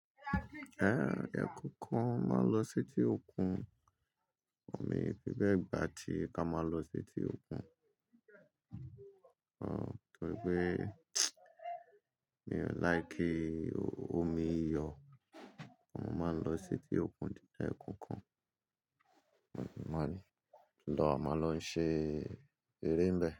Ẹ ẹkookan mo máa n lọ seti òkun. Mi i fi bẹe gbà tí ká máa lọ seti òkun. Torí pé mi ò like omi iyọ̀. Mo máa ń lọ seti òkun di ẹekookan. Uhm máa rí, lọ́ máa lọ ṣe eré n bẹ.